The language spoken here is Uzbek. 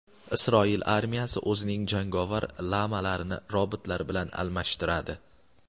Isroil armiyasi o‘zining jangovar lamalarini robotlar bilan almashtiradi.